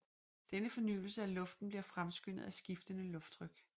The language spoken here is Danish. Denne fornyelse af luften bliver fremskyndet af skiftende lufttryk